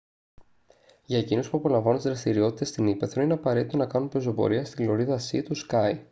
για εκείνους που απολαμβάνουν τις δραστηριότητες στην ύπαιθρο είναι απαραίτητο να κάνουν πεζοπορία στη λωρίδα σι του σκάι